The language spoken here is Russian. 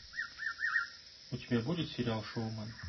у тебя будет сериал шоумен